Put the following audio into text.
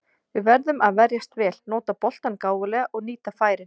Við verðum að verjast vel, nota boltann gáfulega og nýta færin.